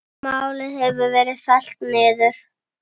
Málið hefur verið fellt niður.